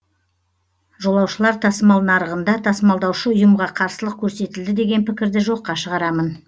жолаушылар тасымал нарығында тасымалдаушы ұйымға қарсылық көрсетілді деген пікірді жоққа шығарамын